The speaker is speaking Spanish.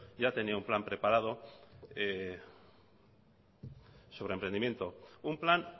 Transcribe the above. ya tenían plan preparado sobre emprendimiento un plan